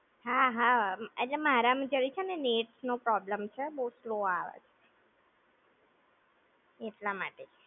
હા હા. એટલે મારામાં જરીક છે ને net નો problem છે, બવ slow આવે છે! એટલા માટે જ!